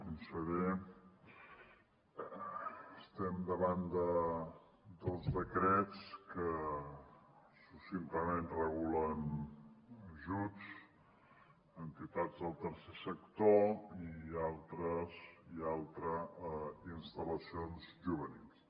conseller estem davant de dos decrets que succintament regulen ajuts a entitats del tercer sector i l’altre a instal·lacions juvenils